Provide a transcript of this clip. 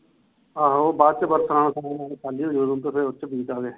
ਆਹੋ ਬਾਅਦ ਚ ਉਥੇ ਬੀਜ ਦਾਗੇ